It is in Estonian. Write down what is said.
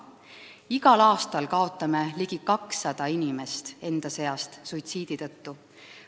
Igal aastal kaotame ligi 200 inimest enda seast suitsiidi tõttu.